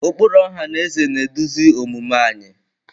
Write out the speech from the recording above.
Ụkpụrụ ọha na eze na-eduzi omume anyị.